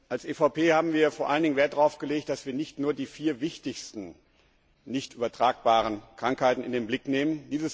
Als EVP haben wir vor allen Dingen Wert darauf gelegt, dass wir nicht nur die vier wichtigsten nicht übertragbaren Krankheiten in den Blick nehmen.